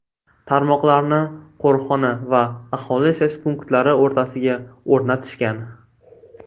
Tarmoqlarni qo‘riqxona va aholi yashash punktlari o‘rtasiga o‘rnatishgan.